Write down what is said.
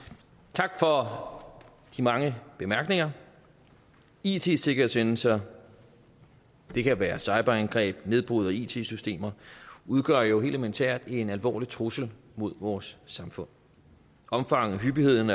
tak for de mange bemærkninger it sikkerhedshændelser det kan være cyberangreb nedbrud af it systemer udgør jo helt elementært en alvorlig trussel mod vores samfund omfanget hyppigheden